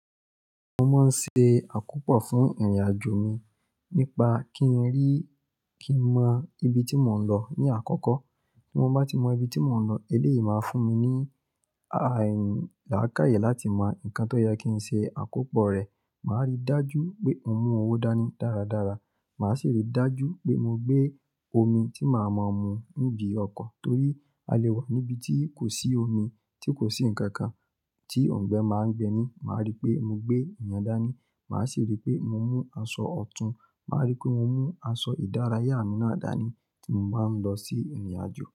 Mo máa ń ṣe àkópọ̀ fún ìrìnàjò mi nípa kí n rí, kí n mọ ibi tí mò ń lọ ní àkọ́kọ́. Tí mo bá tí mọ ibi tí mò ń lọ, eléyìí máa fún mi ní, aì, làákàyè láti mọ ǹkan tó yẹ kí n ṣe àkópọ̀ rẹ̀. Màá rí dájú pé mo mú owó dání dáradára. Màá sì rí dájú pé mo gbé omi tí màá mọ mú níbi ọkọ̀ torí a lè wà níbi tí kò sí omi, tí kò sí ǹkan kan tí òǹgbẹ máa ń gbe mí. Màá rí pé mo gbé ìyẹ́n dání. Màá sì rí pé mo mú aṣọ ọ̀tún. Màá rí pé mo mú aṣọ ìdárayá mi náà dání tí mo bá ń lọ sí ìrìnàjò.